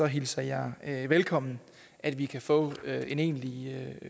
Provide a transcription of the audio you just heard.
hilser jeg velkommen at vi kan få en egentlig